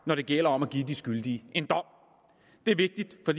når det gælder om at give de skyldige en dom det er vigtigt for